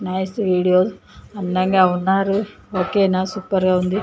Nice video అందంగా ఉన్నారు okay నా సూపర్ గా ఉంది.